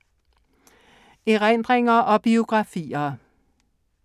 Erindringer og biografier